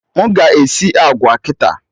M ga-esi agwa kịta?